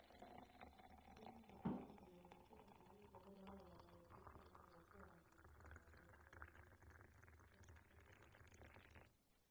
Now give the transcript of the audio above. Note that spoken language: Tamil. இல்ல நான் போனது இல்ல உங்ககிட்ட நான் plan கேட்டதோட அவ்ளோதான் எங்க வீட்ல அதெல்லாம் ஒத்துவராதுனு சொல்லிட்டாங்க